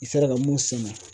I sera ka mun sɛnɛ